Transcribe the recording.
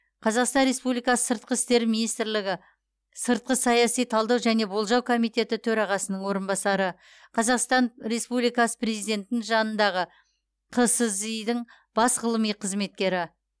қазақстан республикасы сыртқы істер министрлігі сыртқы саяси талдау және болжау комитеті төрағасының орынбасары қазақстан республикасы президентінің жанындағы қсзи дың бас ғылыми қызметкері